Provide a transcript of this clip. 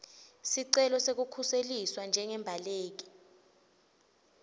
sicelo sekukhuseliswa njengembaleki